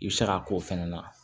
I bɛ se k'a k'o fɛnɛ na